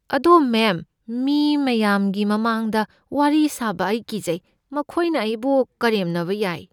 ꯑꯗꯣ ꯃꯦꯝ, ꯃꯤ ꯃꯌꯥꯝꯒꯤ ꯃꯃꯥꯡꯗ ꯋꯥꯔꯤ ꯁꯥꯕ ꯑꯩ ꯀꯤꯖꯩ꯫ ꯃꯈꯣꯏꯅ ꯑꯩꯕꯨ ꯀꯔꯦꯝꯅꯕ ꯌꯥꯏ꯫